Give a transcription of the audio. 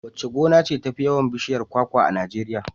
Wace gona ce tafi yawan bishiyar kwakwa a Najeriya?